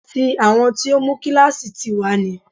Tí àwọn tó mú kíláàsì tì wá ni